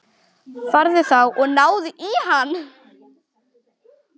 Farið þá og náið í hann!